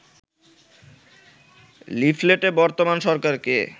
লিফলেটে বর্তমান সরকারকে